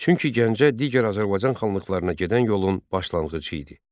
Çünki Gəncə digər Azərbaycan xanlıqlarına gedən yolun başlanğıcı idi.